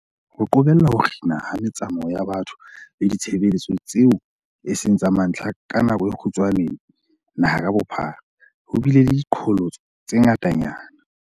Ho qobella ho kginwa ha me-tsamao ya batho le ditshebeletso tseo eseng tsa mantlha ka nako e kgutshwane naha ka bophara, ho bile le diqholotso tse ngata-nyana.